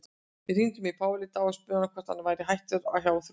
Við hringdum í Pál í dag og spurðum hann hvort hann væri hættur hjá Þrótti?